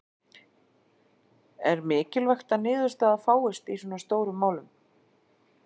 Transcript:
En mikilvægt að niðurstaða fáist í svona stórum málum?